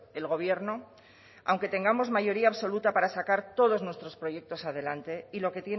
el gobierno aunque tengamos mayoría absoluta para sacar todos nuestros proyectos adelante